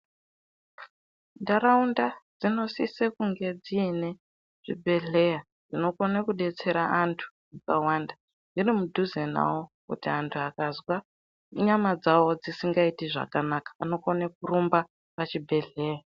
Ntharaunda dzinosisa kunge dziine zvibhedhleya zvinokone kudetsera anthu akawanda, dziri mudhuze nawo kuti anthu akazwa nyama dzawo dzisingaiti zvakanaka anokone kurumba pachibhedhleya.